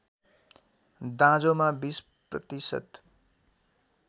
दाँजोमा २० प्रतिशत